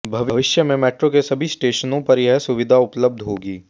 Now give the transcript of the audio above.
भविष्य में मेट्रो के सभी स्टेशनों पर यह सुविधा उपलब्ध होगी